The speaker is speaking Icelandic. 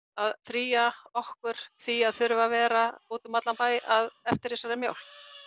að fría okkur í því að þurfa að vera útum allan bæ eftir þessari mjólk